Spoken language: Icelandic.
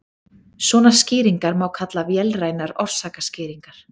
svona skýringar má kalla vélrænar orsakaskýringar